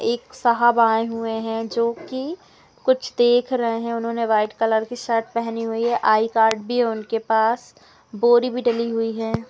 एक साहब आए हुये है जो कि कुछ देख रहे है उन्होंने व्हाइट कलर की शर्ट पहनी हुई है आई कार्ड भी है उनके पास बोरी भी डली हुई है।